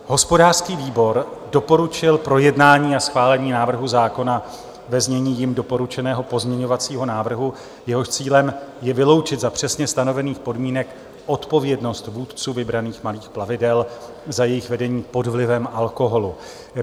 Hospodářský výbor doporučil projednání a schválení návrhu zákona ve znění jím doporučeného pozměňovacího návrhu, jehož cílem je vyloučit za přesně stanovených podmínek odpovědnost vůdců vybraných malých plavidel za jejich vedení pod vlivem alkoholu.